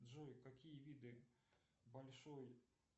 джой какие виды большой